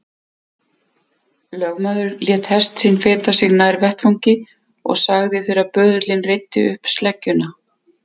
Lögmaður lét hest sinn feta sig nær vettvangi og sagði þegar böðullinn reiddi upp sleggjuna